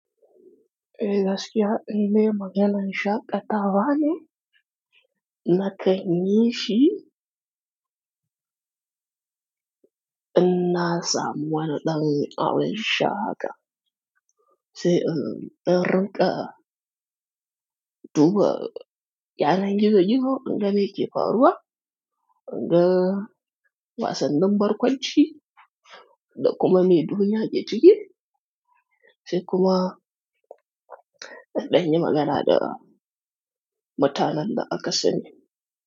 Eh gaskiya indai maganan shaƙatawa ne nakan yishi inna samu wani ɗan abin sha haka. Sai in ɗa ruƙa, duba yanan gizo-gizo in ga me ke faruwa, in ga wasannin barkwanci da kuma me duniya ke ciki. Sai kuma in ɗan yi magana da mutanen da aka sani.